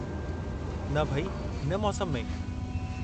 न भई, हिन मौसमु में?